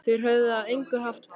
Þeir höfðu að engu haft bann